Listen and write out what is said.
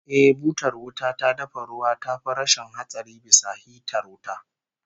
Eh, butar wuta ta dafa ruwa tafi rashin hatsari bisa hitar wuta